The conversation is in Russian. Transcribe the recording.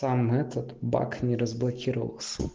там этот баг не разблокировал